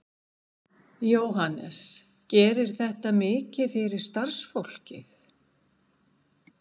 Jóhannes: Gerir þetta mikið fyrir starfsfólkið?